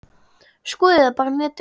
Skoðið það bara á netinu.